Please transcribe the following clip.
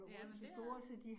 Ja men det er